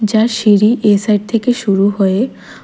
যার সিঁড়ি এসাইড থেকে শুরু হয়ে--